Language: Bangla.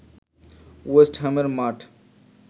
ওয়েস্ট হ্যামের মাঠ